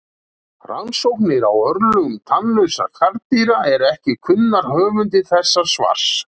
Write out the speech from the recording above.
Rannsóknir á örlögum tannlausra karldýra eru ekki kunnar höfundi þessa svars.